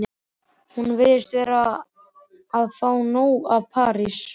Hún virðist vera búin að fá nóg af París.